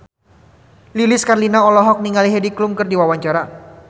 Lilis Karlina olohok ningali Heidi Klum keur diwawancara